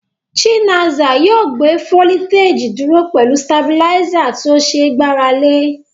Chinaza yóò gbé fólítèjì dúró pẹ̀lú tabiláísà tí ó ṣe é gbára lé.